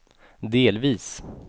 delvis